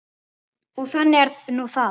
Og þannig er nú það.